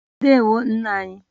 Ndewo nna anyị